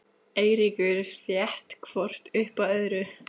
Eiríkur þétt hvort upp að öðru.